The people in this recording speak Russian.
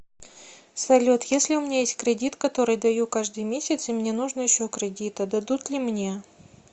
салют если у меня есть кредит который даю каждый месяц и мне нужно еще кредита дадут ли мне